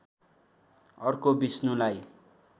अर्को विष्णुलाई